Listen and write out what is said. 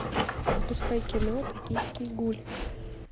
запускай кино токийский гуль